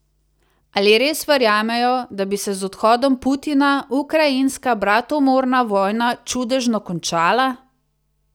Ali res verjamejo, da bi se z odhodom Putina ukrajinska bratomorna vojna čudežno končala?